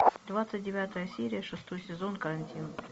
двадцать девятая серия шестой сезон карантин